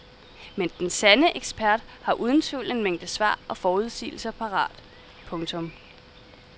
Men den sande ekspert har uden tvivl en mængde svar og forudsigelser parat. punktum